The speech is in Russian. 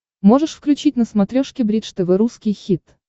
можешь включить на смотрешке бридж тв русский хит